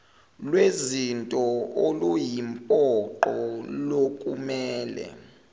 lwezinto oluyimpoqo lokumele